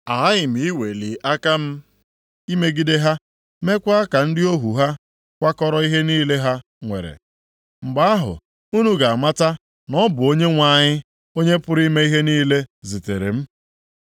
Aghaghị m iweli aka m imegide ha, meekwa ka ndị ohu ha kwakọrọ ihe niile ha nwere. Mgbe ahụ, unu ga-amata na ọ bụ Onyenwe anyị, Onye pụrụ ime ihe niile zitere m.